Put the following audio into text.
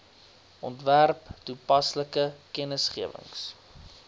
ontwerp toepaslike kennisgewings